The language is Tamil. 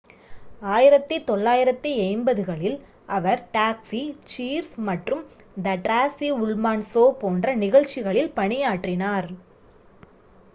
1980களில் அவர் taxi cheers மற்றும் the tracy ullman show போன்ற நிகழ்ச்சிகளில் பணியாற்றினார்